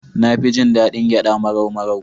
Na fi jin daɗin gyaɗa marau-marau.